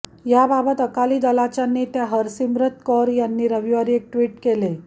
याबाबत अकाली दलाच्या नेत्या हरसिमरत कौर यांनी रविवारी एक ट्विट केले